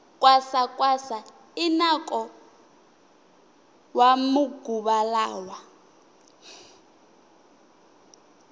kwasa kwasa i nako wa maguva lawa